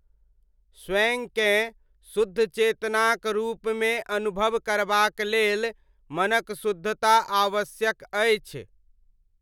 स्वयंकेँ शुद्ध चेतनाक रूपमे अनुभव करबाक लेल मनक शुद्धता आवश्यक अछि।